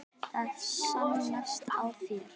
Það sannast á þér.